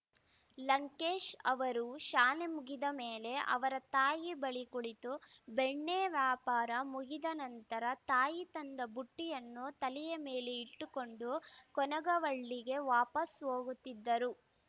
ಲಂಕೇಶ್‌ ಅವರು ಶಾಲೆ ಮುಗಿದ ಮೇಲೆ ಅವರ ತಾಯಿ ಬಳಿ ಕುಳಿತು ಬೆಣ್ಣೆ ವ್ಯಾಪಾರ ಮುಗಿದನಂತರ ತಾಯಿ ತಂದ ಬುಟ್ಟಿಯನ್ನು ತಲೆಯ ಮೇಲೆ ಇಟ್ಟುಕೊಂಡು ಕೊನಗವಳ್ಳಿಗೆ ವಾಪಸ್‌ ಹೋಗುತ್ತಿದ್ದರು